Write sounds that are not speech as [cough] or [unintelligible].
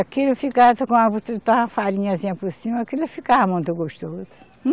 Aquilo ficava [unintelligible] a farinhazinha por cima, aquilo ficava muito gostoso.